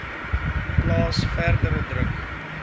plaas verdere druk